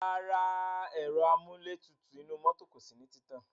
Rárá, ẹ̀ro amúlétutù inú mọ́tò kò sí ní títàn.